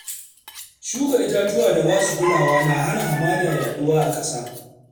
Shuka itatuwa da basu kulawa na hana hamada yaɗuwa a ƙasa.